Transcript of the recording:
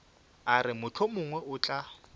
a re mohlomongwe o tla